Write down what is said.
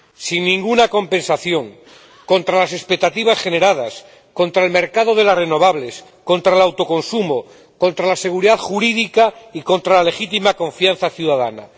Sin ninguna compensación, contra las expectativas generadas, contra el mercado de las renovables, contra el autoconsumo, contra la seguridad jurídica y contra la legítima confianza ciudadana.